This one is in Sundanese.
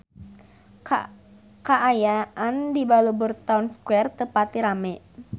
Kaayaan di Balubur Town Square teu pati rame